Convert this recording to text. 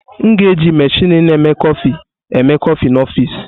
M ga-eji meshini na-eme kọfị eme kọfị n'ọfịs.